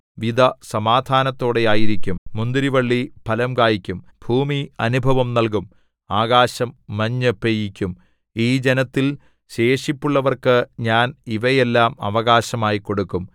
വിത സമാധാനത്തോടെ ആയിരിക്കും മുന്തിരിവള്ളി ഫലം കായ്ക്കും ഭൂമി അനുഭവം നല്കും ആകാശം മഞ്ഞു പെയ്യിക്കും ഈ ജനത്തിൽ ശേഷിപ്പുള്ളവർക്കു ഞാൻ ഇവയെല്ലാം അവകാശമായി കൊടുക്കും